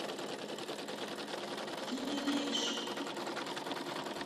кинерейш